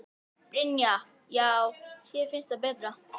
Brynja: Já þér finnst það betra?